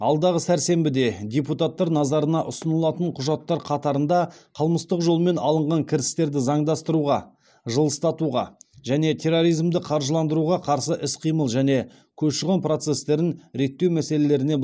алдағы сәрсенбіде депутаттар назарына ұсынылатын құжаттар қатарында қылмыстық жолмен алынған кірістерді заңдастыруға және терроризмді қаржыландыруға қарсы іс қимыл және көші қон процестерін реттеу мәселелеріне бағытталған